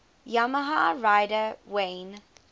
yamaha rider wayne